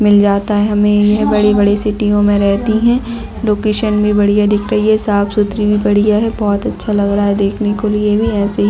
--मिल जाता है हमे यह बड़ी बड़ी सीटियों में रहती है लोकेशन भी बढियाँ दिख रही है साफ़ सुथरी भी बढियाँ है बहोत अच्छा लग रहा है देखने के लिए भी ऐसे ही--